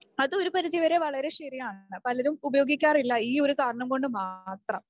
അതും ഒരു പരിധിവരെ വളരെ ശരിയാണ് പലരും ഉപയോഗിക്കാറില്ല ഈയൊരു കാരണം കൊണ്ട് മാത്രം.